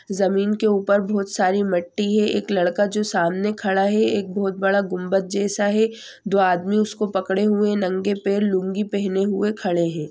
जमीन के ऊपर बहुत सारी मट्टी है एक लड़का जो सामने खड़ा है एक बहुत बड़ा गुंबद जैसा है दो आदमी उसको पकड़े हुए है नंगे पैर लुंगी पहने हुए खड़े है।